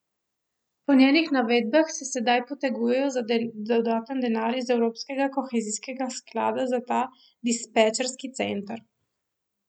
Po njenih navedbah se sedaj potegujejo za dodaten denar iz evropskega kohezijskega sklada za ta dispečerski center.